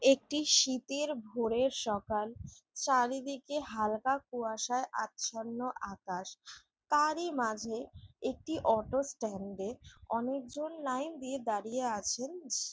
একটি শীতের ভোরের সকাল চারিদিকে হালকা কুয়াশায় আচ্ছন্ন আকাশ । তারই মাঝে একটি অটো স্ট্যান্ড -এ অনেকজন লাইন দিয়ে দাঁড়িয়ে আছেন যে--